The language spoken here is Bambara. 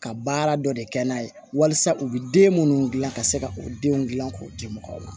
Ka baara dɔ de kɛ n'a ye walasa u bɛ den minnu dilan ka se ka o denw dilan k'o di mɔgɔw ma